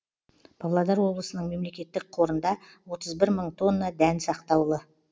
павлодар облысының мемлекеттік қорында отыз бір мың тонна дән сақтаулы